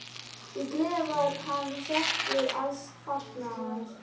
Í gleði var hann hrókur alls fagnaðar.